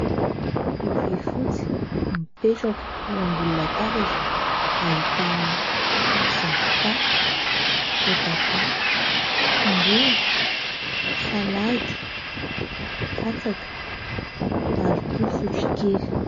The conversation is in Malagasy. lovia fotsy mipetraka eo ambony tabatra ahitana zavoka voatabia tongolo salady katsaka ary koa sotro kely